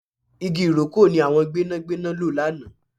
Igi ìrókò ni àwọn gbẹ́nàgbẹ́nà lò lánàá